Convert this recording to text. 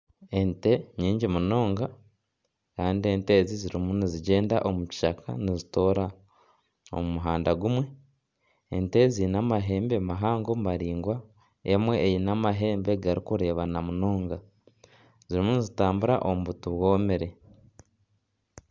Ente nyingi munonga kandi ente ezi ziriyo nizigyenda omu kishaka nizitoora omu muhanda gumwe ente ziine amahembe mahango maraingwa emwe eine amahembe garikureebana munonga zirimu nizitambura omu buti bwomire